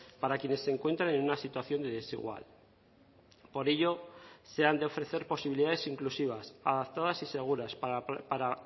para quienes se encuentran en una situación de desigual por ello se han de ofrecer posibilidades inclusivas adaptadas y seguras para